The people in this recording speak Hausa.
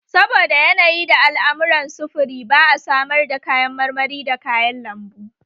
Saboda yanayi da al'amuran sufuri ba a samar da kayan marmari da kayan lambu